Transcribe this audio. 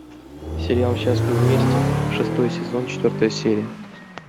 сериал счастливы вместе шестой сезон четвертая серия